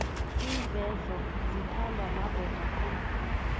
iinvedlo zithandwa madoda khulu